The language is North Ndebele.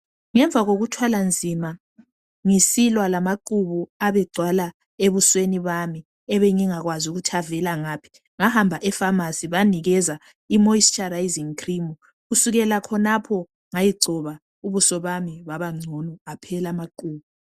Ngemva kokuthwala nzima ngisilwa lamaqhubu abegcwala ebusweni bami ebengingakwazi ukuthi avela ngaphi. Ngahamba efamasi banginikeza i moisturising cream kusukela khonapha ngayigcoba ubuso bami babangcono aphela amaqhubu